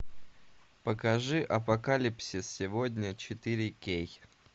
покажи апокалипсис сегодня четыре кей